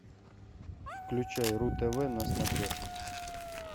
включай ру тв на смотрешке